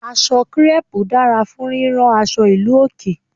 Aṣọ kírẹ́pù dára fún rírán aṣọ ìlú òkè.